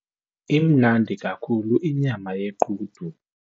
Imnandi kakhulu inyama yequdu.